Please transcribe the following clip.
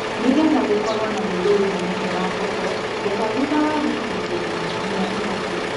Nĩgetha gũkorwo na wĩru wĩiganaine wa koko, getha thutha wa wiki igĩrĩ nginya ithatu.